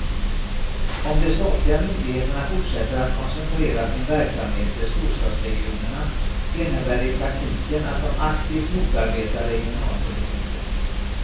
Om de statliga myndigheterna fortsätter att koncentrera sin verksamhet till storstadsregionerna innebär det i praktiken att de aktivt motarbetar regionalpolitiken.